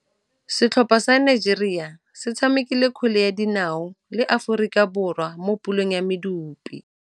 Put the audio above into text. Setlhopha sa Nigeria se tshamekile kgwele ya dinaô le Aforika Borwa mo puleng ya medupe.